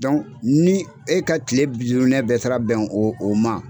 ni e ka kile bɛɛ taara bɛn o o ma